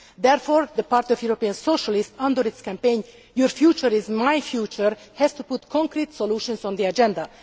Therefore the Party of European Socialists, under its campaign Your future is my future', has to put concrete solutions on the agenda.